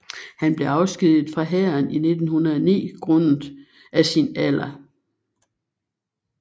Han blev afskediget fra hæren i 1909 grundet af sin alder